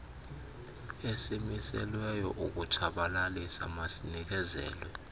esimiselweyo sokutshabalalisa masinikezelwe